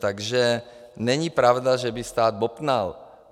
Takže není pravda, že by stát bobtnal.